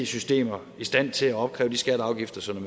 systemer i stand til at opkræve de skatter og afgifter som